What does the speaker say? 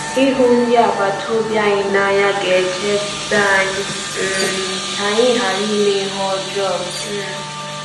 Ịhụ ndị agbata obi anyị n’anya ga-echebe anyị um ka anyị ghara ime ihe ọjọọ um.